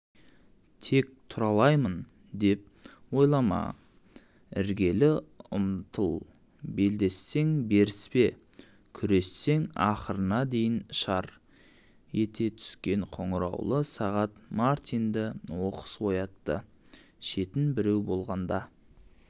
тек тұралаймын деп ойлама ілгері ұмтыл белдессең беріспе күрессең ақырына дейін шар ете түскен қоңыраулы сағат мартинді оқыс оятты шетін біреу болғанда